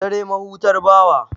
Dare mahutar bawa.